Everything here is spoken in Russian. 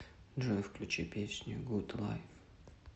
джой включи песню гуд лайф